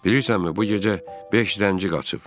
Bilirsənmi, bu gecə beş rənci qaçıb.